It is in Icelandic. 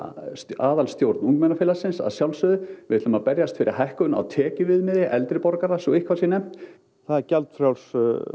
aðalstjórn ungmennafélagsins að sjálfsögðu við ætlum að berjast fyrir hækkun á tekjuviðmiði eldri borgara svo eitthvað sé nefnt það er gjaldfrjálst